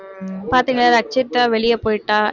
பாத்தீங்களா ரட்சிதா வெளிய போயிட்டா இருப்பாளேன்னு போயிட்டா